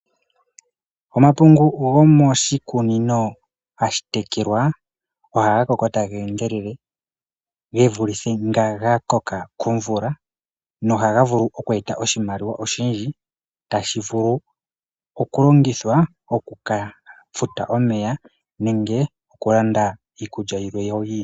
Omapungu gomishikunino hashi tekelwa, oha ga koko tage endelele, ge vulithe nga koka komvula, noha ga vulu oku eta oshimaliwa oshindji, tashi vulu oku longithwa oku ka futa omeya, nenge okulanda iikulya yilwe yo oyindji.